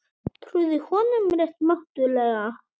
Trúðu honum rétt mátulega.